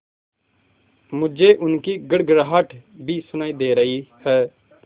मुझे उनकी गड़गड़ाहट भी सुनाई दे रही है